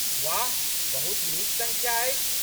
वाह, बहुत नीक संख्या अछि!